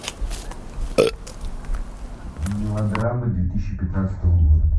мелодрамы две тысячи пятнадцатого года